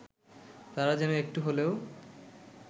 তারা যেন একটু হলেও